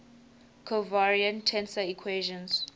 covariant tensor equations